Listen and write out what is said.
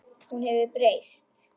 Hún hefur breyst.